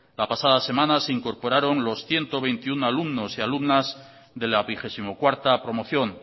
la pasada semana se incorporaron los ciento veintiuno alumnos y alumnas de la vigesimocuarta promoción